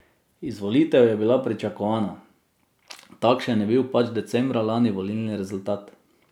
Izvolitev je bila pričakovana, takšen je bil pač decembra lani volilni rezultat.